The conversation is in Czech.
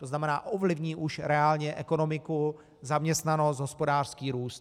To znamená, ovlivní už reálně ekonomiku, zaměstnanost, hospodářský růst.